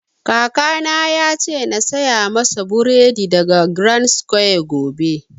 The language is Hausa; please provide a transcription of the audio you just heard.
Kaka na ya ce na saya masa buredi daga grandsquare gobe